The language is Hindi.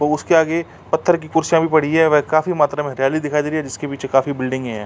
और उसके आगे पत्थर की कुर्सिया भी पड़ी हैं व काफी मात्रा में दिखाई दे रही हैं। जिसके पीछे काफी बिल्डिंगे हैं।